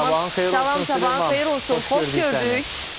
Salam, cavan, xeyir olsun, xoş gördük.